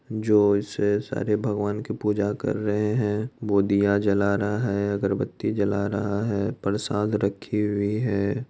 जो इसे सारे भगवान की पूजा कर रहे है वो दिया जला रहा है अगर बत्ती जला रहा है परसाद रखी हुई है।